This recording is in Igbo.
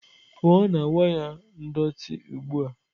pụọ na waya ndọtị ugbu a!